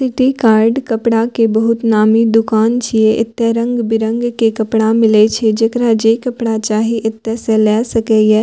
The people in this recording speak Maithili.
सिटी कार्ड कपड़ा के बहुत नामी दुकान छीये एते रंग-बिरंग के कपड़ा मिलय छै जेकरा जे कपड़ा चाही एते से ले सकय ये।